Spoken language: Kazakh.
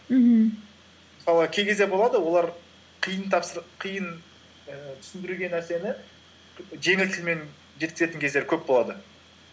мхм мысалы кей кезде болады олар қиын қиын ііі түсіндіруге нәрсені жеңіл тілмен жеткізетін кездер көп болады